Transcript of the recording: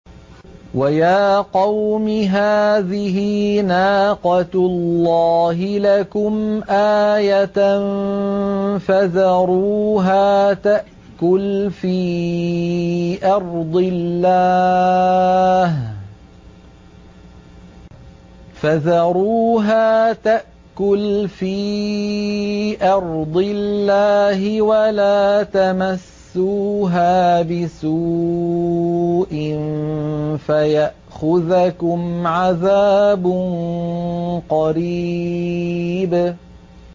وَيَا قَوْمِ هَٰذِهِ نَاقَةُ اللَّهِ لَكُمْ آيَةً فَذَرُوهَا تَأْكُلْ فِي أَرْضِ اللَّهِ وَلَا تَمَسُّوهَا بِسُوءٍ فَيَأْخُذَكُمْ عَذَابٌ قَرِيبٌ